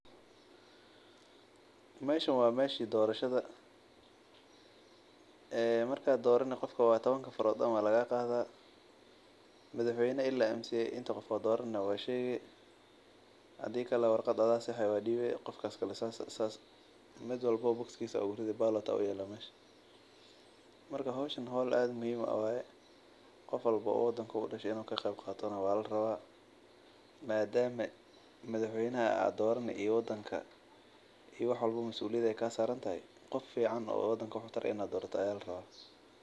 Meeshan waa meesha dorashada qofka markaad dorani faraha ayaa lagaa qaada madax weynaha ilaa kan oogu hose ayaa dorani marka qof walbo ayaa qasab ah inuu wax dorto wadanka masuuliyad ayaa kaa saaran.